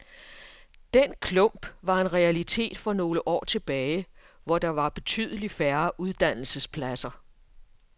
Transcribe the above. Den klump var en realitet for nogle år tilbage, hvor der var betydeligt færre uddannelsespladser.